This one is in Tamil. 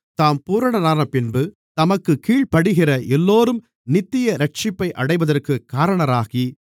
தாம் பூரணரானபின்பு தமக்குக் கீழ்ப்படிகிற எல்லோரும் நித்திய இரட்சிப்பை அடைவதற்குக் காரணராகி